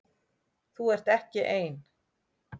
Þú ert ekki ein.